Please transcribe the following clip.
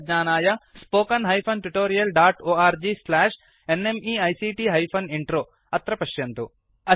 अधिकज्ञानाय spoken hyphen tutorial dot org slash NMEICT hyphen intro अत्र पश्यन्तु